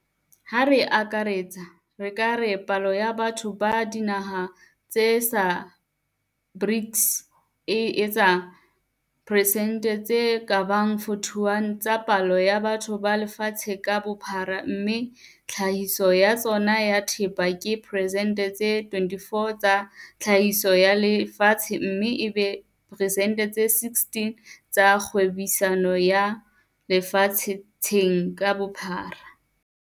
Ha re akaretsa, re ka re palo ya batho ba dinaha tsena tsa BRICS e etsa persente tse ka bang 41 tsa palo ya batho ba lefatshe ka bophara mme tlhahiso ya tsona ya thepa ke persente tse 24 tsa tlhahiso ya lefatshe mme e be persente tse 16 tsa kgwebisano ya lefa tsheng ka bophara.